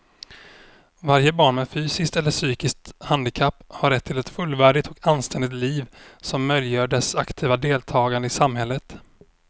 Varje barn med fysiskt eller psykiskt handikapp har rätt till ett fullvärdigt och anständigt liv som möjliggör dess aktiva deltagande i samhället.